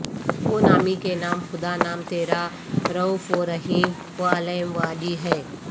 وہ نامی کے نام خدا نام تیرا رئوف و رحیم و علیم وعلی ہے